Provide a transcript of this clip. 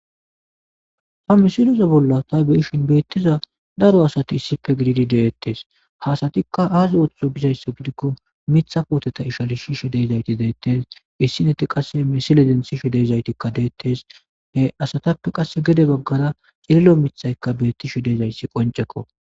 ta misiloza bolla ta beyishin beettiza daro asati issife gididi deettes hasatikka aazi ooththo gizayssa gidikko mitha pooteta ishalishishe deezayti deettes issineti qasse misileden sishe deezaytikka deettes ha asatappe qasse gede baggara xililo mithaykka beettishe deezayssi qoncekko